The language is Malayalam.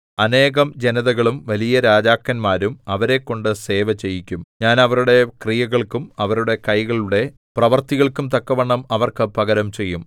അനേകം ജനതകളും വലിയ രാജാക്കന്മാരും അവരെക്കൊണ്ടു സേവ ചെയ്യിക്കും ഞാൻ അവരുടെ ക്രിയകൾക്കും അവരുടെ കൈകളുടെ പ്രവൃത്തികൾക്കും തക്കവണ്ണം അവർക്ക് പകരം ചെയ്യും